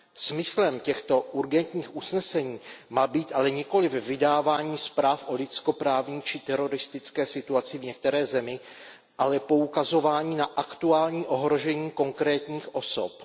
Smyslem těchto urgentních usnesení má být ale nikoliv vydávání zpráv o lidskoprávní či teroristické situaci v některé zemi, ale poukazování na aktuální ohrožení konkrétních osob.